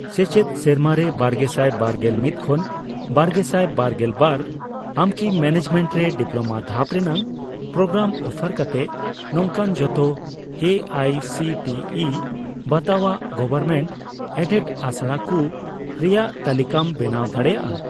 ᱥᱮᱪᱮᱫ ᱥᱮᱨᱢᱟᱨᱮ ᱵᱟᱨᱜᱮᱥᱟᱭ ᱵᱟᱨᱜᱮᱞ ᱢᱤᱫ ᱠᱷᱚᱱ ᱵᱟᱨᱜᱮᱥᱟᱭ ᱵᱟᱨᱜᱮᱞ ᱵᱟᱨ ᱟᱢᱠᱤ ᱢᱮᱱᱮᱡᱢᱮᱱᱴ ᱨᱮ ᱰᱤᱯᱞᱳᱢᱟ ᱫᱷᱟᱯ ᱨᱮᱱᱟᱜ ᱯᱨᱳᱜᱨᱟᱢ ᱚᱯᱷᱟᱨ ᱠᱟᱛᱮ ᱱᱚᱝᱠᱟᱱ ᱡᱷᱚᱛᱚ A I C T E ᱵᱟᱛᱟᱣᱟᱜ ᱜᱚᱵᱷᱚᱨᱢᱮᱱᱴᱼᱮᱰᱮᱰ ᱟᱥᱲᱟᱠᱩ ᱨᱮᱭᱟᱜ ᱛᱟᱞᱤᱠᱟᱢ ᱵᱮᱱᱟᱣ ᱫᱟᱲᱮᱭᱟᱜᱼᱟ ?